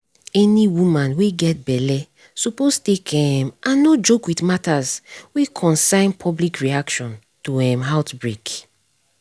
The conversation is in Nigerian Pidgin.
any woman wey get belle suppose take um and no joke with matters wey concern public reaction to um outbreak